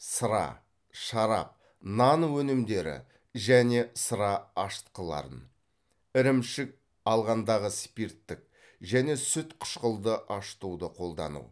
сыра шарап нан өнімдері және сыра ашытқыларын ірімшік алғандағы спирттік және сүт қышқылды ашытуды қолдану